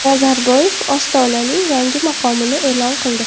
Nazarboyev Ostonaning yangi maqomini e’lon qildi.